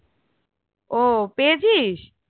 ও পেয়েছিস?